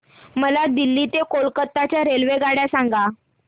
मला दिल्ली ते कोलकता च्या रेल्वेगाड्या सांगा